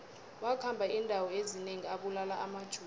wakhamba indawo ezinengi abulala amajuda